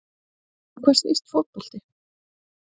Um hvað snýst fótbolti?